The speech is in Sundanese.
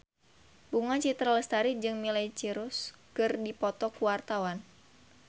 Bunga Citra Lestari jeung Miley Cyrus keur dipoto ku wartawan